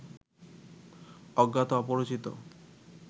অজ্ঞাত অপরিচিত